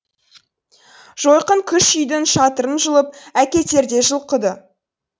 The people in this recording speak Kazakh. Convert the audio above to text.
жойқын күш үйдің шатырын жұлып әкетердей жұлқыды